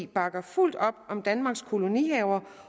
bakker fuldt op om danmarks kolonihaver